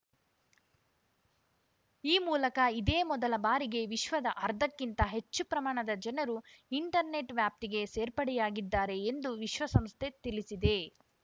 ಈ ಮೂಲಕ ಇದೇ ಮೊದಲ ಬಾರಿಗೆ ವಿಶ್ವದ ಅರ್ಧಕ್ಕಿಂತ ಹೆಚ್ಚು ಪ್ರಮಾಣದ ಜನರು ಇಂಟರ್ನೆಟ್‌ ವ್ಯಾಪ್ತಿಗೆ ಸೇರ್ಪಡೆಯಾಗಿದ್ದಾರೆ ಎಂದು ವಿಶ್ವಸಂಸ್ಥೆ ತಿಳಿಸಿದೆ